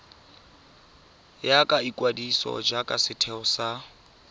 ya ikwadiso jaaka setheo sa